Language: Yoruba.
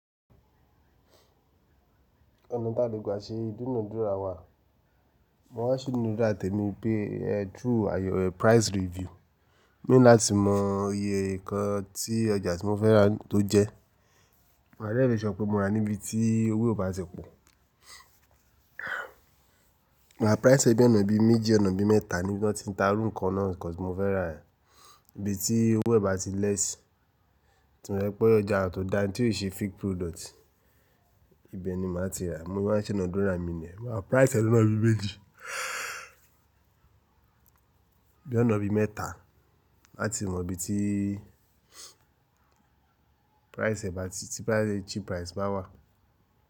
Ọ̀nà tà lè gba ṣe, ìdúnadúrà wà. Mo máa ń sì nínú dá tèmi pé ẹ tú àyè price review, mo láti mọ iye nǹkan tí ọjà tí mo fẹ́ rà tó jẹ. Maa dẹ̀ makesure pé mo rà níbi tí owó ò bá ti pọ̀. Ma price ẹ bí ọ̀nà bí méjì ọ̀nà bí mẹ́ta níbi tí wọn ti ń ta irú nǹkan náà nǹkan tí mo fẹ́ rà yen, níbi tí owó ẹ bá ti lèesí. Tí mo rí pé ọjà tọ̀ dá ní tí ò ṣe fake product, ibẹ̀ ni màá ti rà. Mo wa sinadúrà ni o. Maa price ẹ lóo lona méjì, bí ọ̀nà bí mẹ́taa, láti mọ bití i price ẹ bá ti, tí price ẹ cheap price bá wà.